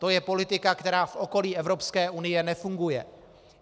To je politika, která v okolí Evropské unie nefunguje.